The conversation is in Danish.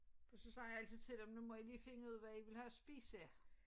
Og så sagde jeg altid til dem nu må i lige finde ud af hvad i vil have at spise